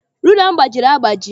Rula m gbajiri agbaji.